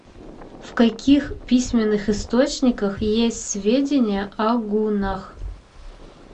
в каких письменных источниках есть сведения о гуннах